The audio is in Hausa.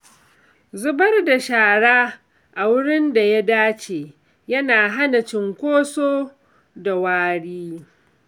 Zubar da shara a wurin da ya dace yana hana cunkoso da wari.